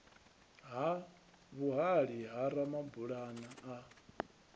ha vhuhali ha ramabulana a